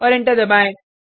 और एंटर दबाएँ